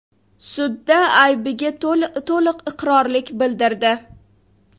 sudda aybiga to‘liq iqrorlik bildirdi.